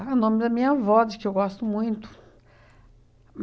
Ah, é o nome da minha avó, de que eu gosto muito.